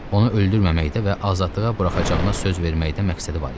Onu öldürməməkdə və azadlığa buraxacağına söz verməkdə məqsədi var idi.